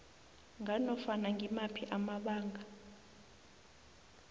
nganofana ngimaphi amabanga